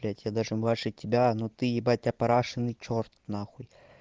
блять я даже младше тебя но ты ебать опарашеный чёрт нахуй